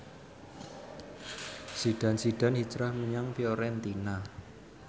Zidane Zidane hijrah menyang Fiorentina